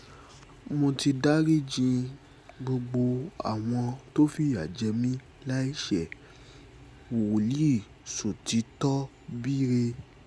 mo ti dariji gbogbo àwọn tó fìyà jẹ mí láì ṣe-wòlíì ṣòtítọ́bírẹ̀